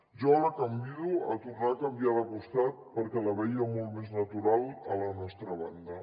jo la convido a tornar a canviar de costat perquè la veia molt més natural a la nostra banda